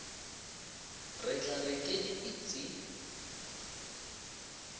re tla re ke dipitsi